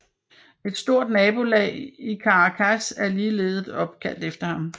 Et stort nabolag i Caracas er ligeledes opkaldt efter ham